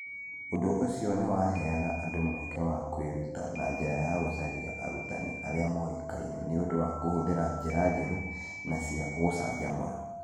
Ũndũ ũcio nĩ waheaga andũ mweke wa kwĩruta na njĩra ya gũcaria arutani arĩa moĩkaine nĩ ũndũ wa kũhũthĩra njĩra njerũ na cia gũcanjamũra.